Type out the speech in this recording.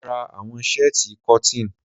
Mora àwọn shẹ́tíì cotton.